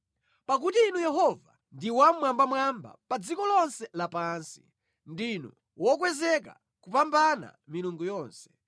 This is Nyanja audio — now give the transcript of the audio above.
Pakuti Inu Yehova ndi Wammwambamwamba pa dziko lonse lapansi; ndinu wokwezeka kupambana milungu yonse.